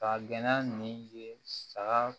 Ka gɛnɛ min ye saga